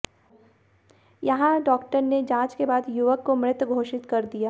यहां डॉक्टर ने जांच के बाद युवक को मृत घोषित कर दिया